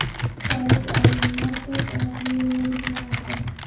Xitoylik olimlar to‘rt oyoqli robot yaratdi.